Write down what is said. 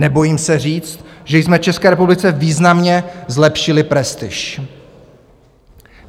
Nebojím se říct, že jsme České republice významně zlepšili prestiž.